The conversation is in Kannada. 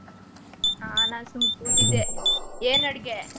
ಆ ನಾನ್ ಸುಮ್ನೆ ಕೂತಿದ್ದೆ. ಏನ್ ಅಡ್ಗೆ?